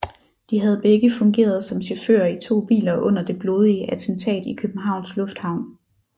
De havde begge fungeret som chauffører i to biler under det blodige attentat i Københavns Lufthavn